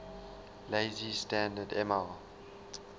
lazy standard ml